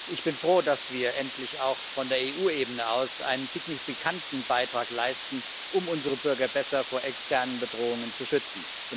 Ich bin froh, dass wir endlich auch von der EU Ebene aus einen signifikanten Beitrag leisten, um unsere Bürger besser vor externen Bedrohungen zu schützen.